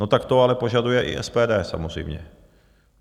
No tak to ale požaduje i SPD samozřejmě.